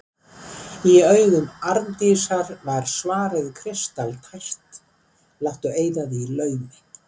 Í augum Arndísar var svarið kristaltært: Láttu eyða því í laumi.